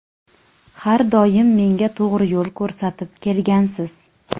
Har doim menga to‘g‘ri yo‘l ko‘rsatib kelgansiz.